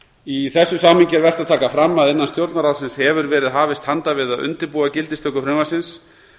í þessu samhengi er vert að taka fram að innan stjórnarráðsins hefur verið hafist handa við að undirbúa gildistöku frumvarpsins